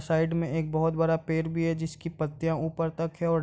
side में एक बहोत बड़ा पेड़ भी है जिसकी पत्तियां ऊपर तक हैं और --